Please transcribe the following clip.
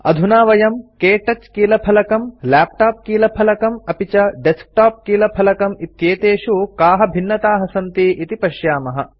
अधुना वयं क्तौच कीलफलकं लैपटॉप कीलफलकम् अपि च डेस्कटॉप कीलफलकम् इत्येतेषु काः भिन्नताः सन्ति इति पश्यामः